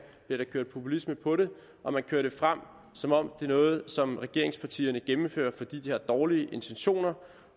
bliver der kørt populisme på det og man kører det frem som om det er noget som regeringspartierne gennemfører fordi de har dårlige intentioner